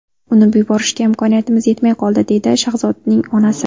Uni yuborishga imkoniyatimiz yetmay qoldi”, deydi Shahzodning onasi.